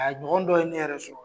A ɲɔgɔn dɔ ye ne yɛrɛ sɔrɔ